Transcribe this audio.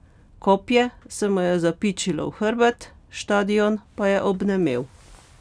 Kopje se mu je zapičilo v hrbet, štadion pa je obnemel.